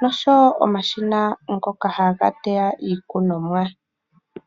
noshowo omashina ngoka haga teya iikunomwa.